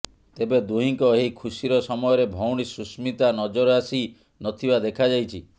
ତେବେ ଦୁହିଁଙ୍କ ଏହି ଖୁସିର ସମୟରେ ଭଉଣୀ ସୁସ୍ମିତା ନଜର ଆସି ନଥିବା ଦେଖା ଯାଇଛି